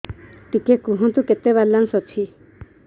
ଟିକେ କୁହନ୍ତୁ କେତେ ବାଲାନ୍ସ ଅଛି